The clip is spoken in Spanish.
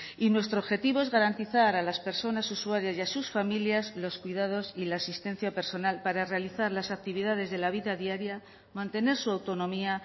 y nuestro objetivo es garantizar a las personas usuarias y a sus familias los cuidados y la asistencia personal para realizar las actividades de la vida diaria mantener su autonomía